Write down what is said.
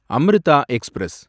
Amrita express